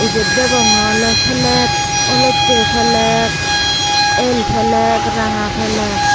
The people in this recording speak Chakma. ibet degonge oley fleg olottey fleg el fleg ranga fleg.